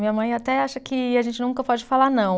Minha mãe até acha que a gente nunca pode falar não.